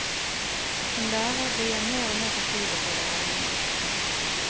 Som lærer blir jeg mer og mer fortvilet over ordningen.